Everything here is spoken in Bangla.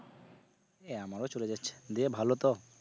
এই আমারও চলে যাচ্ছে, দিয়ে ভালো তো?